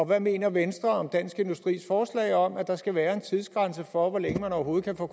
hvad mener venstre om dansk industris forslag om at der skal være en tidsgrænse for hvor længe man overhovedet kan få